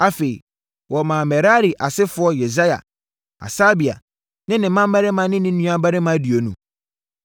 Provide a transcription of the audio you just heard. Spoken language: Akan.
Afei, wɔmaa Merari asefoɔ Yesaia, Hasabia ne ne mmammarima ne ne nuammarima aduonu